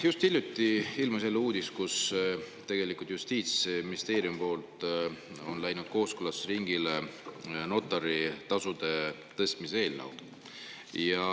Just hiljuti ilmus uudis, et Justiitsministeeriumist on läinud kooskõlastusringile notaritasude tõstmise eelnõu.